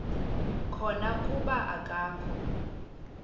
khona kuba akakho